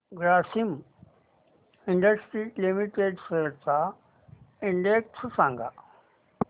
Grasim industries limited shares चा index सांगा